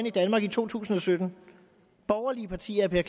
i danmark i to tusind og sytten borgerlige partier vil